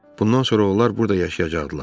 Bundan sonra onlar burda yaşayacaqdılar.